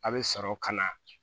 A' be sɔrɔ ka na